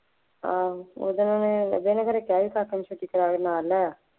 ਆਹੋ ਉਹ ਦਿਨ ਮੈਂ ਬਸ ਇਹਨਾ ਦੇ ਘਰੇ ਕਿਹਾ ਸੀ ਕਾਕੇ ਨੂੰ ਛੁੱਟੀ ਕਰਾ ਦਿਉ